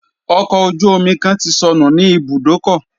Ọkọ̀ ojú omi kan ti sọnù ní ibùdókọ̀.